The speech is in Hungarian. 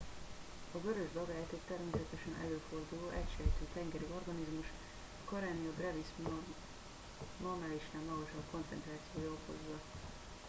a vörös dagályt egy természetesen előforduló egysejtű tengeri organizmus a karenia brevis normálisnál magasabb koncentrációja okozza